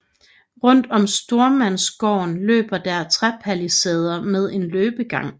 Rundt om stormandsgården løber der træpalisader med en løbegang